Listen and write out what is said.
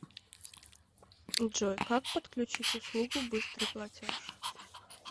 джой как подключить услугу быстрый платеж